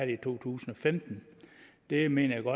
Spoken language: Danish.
i to tusind og femten det mener